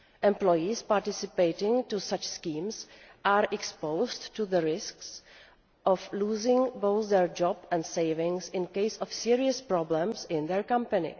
Employees participating in such schemes are exposed to the risk of losing both their job and their savings in the event of serious problems in their company.